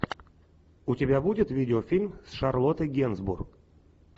у тебя будет видеофильм с шарлоттой генсбур